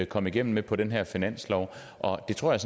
kom igennem med på den her finanslov og det tror jeg